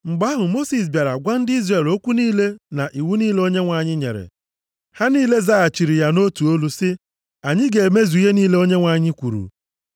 Mgbe ahụ, Mosis bịara gwa ndị Izrel okwu niile na iwu niile Onyenwe anyị nyere. Ha niile zaghachiri ya nʼotu olu sị, “Anyị ga-emezu ihe niile Onyenwe anyị kwuru.”